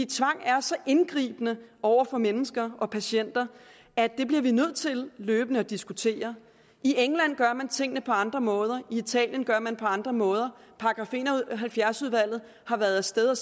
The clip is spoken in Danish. tvang er så indgribende over for mennesker og patienter at det bliver vi nødt til løbende at diskutere i england gør man tingene på andre måder i italien gør man det på andre måder § en og halvfjerds udvalget har været af sted og